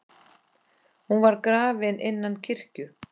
Hún var grafin innan kirkju.